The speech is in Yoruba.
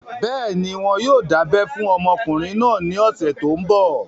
Bẹ́ẹ̀ni, wọn yóò dábẹ́ fún ọmọkùnrin náà ní ọ̀sẹ̀ tó n bọ̀